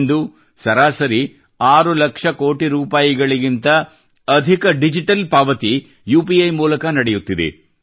ಇಂದು ಸರಾಸರಿ 6 ಲಕ್ಷ ಕೋಟಿ ರೂಪಾಯಿಗಿಂತ ಅಧಿಕ ಡಿಜಿಟಲ್ ಪಾವತಿ ಯುಪಿಐ ಮೂಲಕ ನಡೆಯುತ್ತಿದೆ